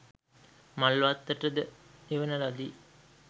මල්වත්තට ද එවන ලදී.